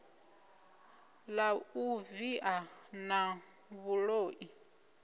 la u via na vhuloi